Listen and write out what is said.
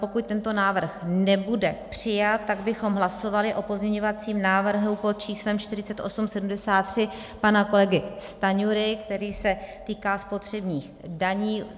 Pokud tento návrh nebude přijat, tak bychom hlasovali o pozměňovacím návrhu pod číslem 4873 pana kolegy Stanjury, který se týká spotřebních daní.